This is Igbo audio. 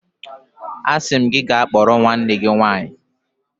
Asim gi ka kporo nwanne gi nwanyi.